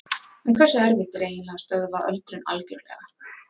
En hversu erfitt er eiginlega að stöðva öldrun algjörlega?